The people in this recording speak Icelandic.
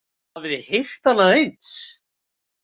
Hafið þið heyrt annað eins?